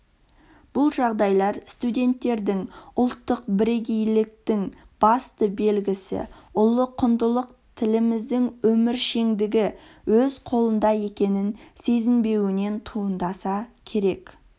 бұл жағдайлар студенттердің ұлттық бірегейліктің басты белгісі ұлы құндылық тіліміздің өміршеңдігі өз қолында екенін сезінбеуінен туындаса керек